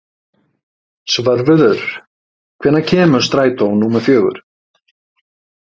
Svörfuður, hvenær kemur strætó númer fjögur?